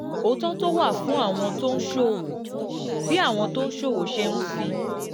òótọ́ tó wà fún àwọn tó ń ṣòwò: bí àwọn tó ń ṣòwò ṣe ń fi